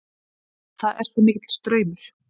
Það er svo mikill straumur.